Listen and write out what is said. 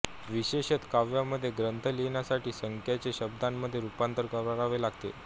विशेषत काव्यामध्ये ग्रंथ लिहिण्यासाठी संख्यांचे शब्दामध्ये रूपांतर करावे लागते